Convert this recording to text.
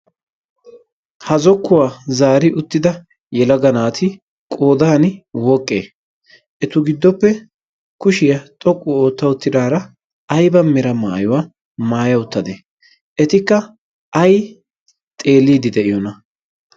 ha zokkuwaa zaari uttida yelaga naati qoodan woqqe etu giddoppe kushiyaa xoqqu ootta utidaara aiba mera maayuwaa maaya uttadee etikka ai xeeliidi de'iyoona?